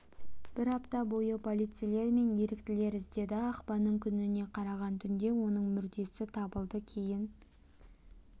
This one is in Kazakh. бір апта бойы полицейлер мен еріктілер іздеді ақпанның күніне қараған түнде оның мүрдесі табылды кейін